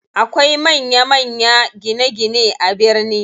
Akwai manya manya gine gine a birni.